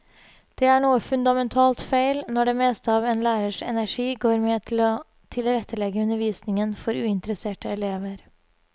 Det er noe fundamentalt feil når det meste av en lærers energi går med til å tilrettelegge undervisningen for uinteresserte elever.